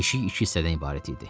Yeşik iki hissədən ibarət idi.